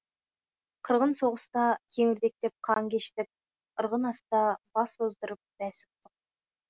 қырғын соғыста кеңірдектеп қан кештік ырғын аста бас оздырып бәс ұттық